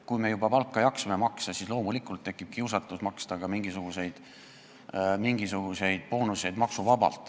Kui me juba jaksame palka maksta, siis loomulikult tekib kiusatus maksta ka mingisuguseid maksuvabu boonuseid.